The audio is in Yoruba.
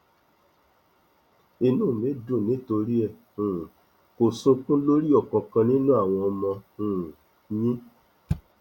inú mi dùn nítorí ẹ um kò sunkún lórí ọkánkán nínú àwọn ọmọ um yín